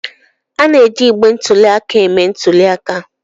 A na-eji igbe ntụli aka eme ntuli aka.